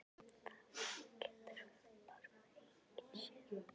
Það getur bara enginn séð það.